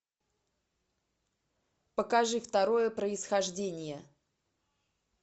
покажи второе происхождение